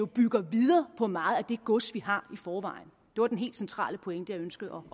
bygger videre på meget af det gods vi har i forvejen det var den helt centrale pointe jeg ønskede